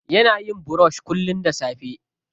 Yana yin brush kullum da safe.